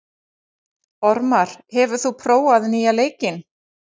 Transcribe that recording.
Ormar, hefur þú prófað nýja leikinn?